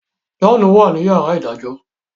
John wá ní yàrá idajọ.